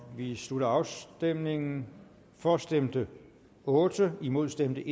vi slutter afstemningen for stemte otte imod stemte